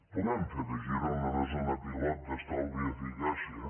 podem fer de girona una zona pilot d’estalvi i eficàcia